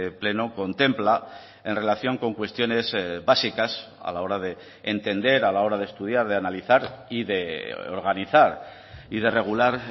pleno contempla en relación con cuestiones básicas a la hora de entender a la hora de estudiar de analizar y de organizar y de regular